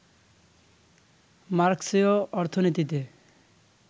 মার্ক্সীয় অর্থনীতিতে